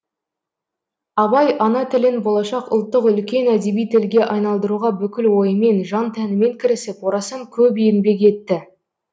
абай ана тілін болашақ ұлттық үлкен әдеби тілге айналдыруға бүкіл ойымен жан тәнімен кірісіп орасан көп еңбек етті